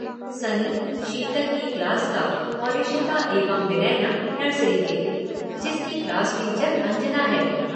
सनी, शीतल की क्लास का और इशिता एवं विनयना, नर्सरी के, जिसकी क्लास टीचर अंजना है।